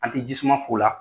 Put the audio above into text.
An ti jisuma f'o la